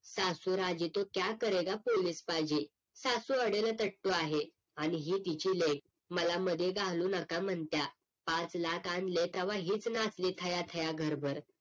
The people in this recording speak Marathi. सासू राजी तो क्या करेगा पोलीस पाजी सासू अडेलपट्टू आहे आणि ही तिची लेक मला मध्ये घालू नका म्हणत्या पाच लाख आणले तव्हा हेच नाचले थया थया घरभर